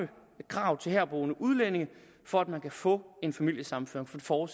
kravene til herboende udlændinge for at man kan få en familiesammenføring for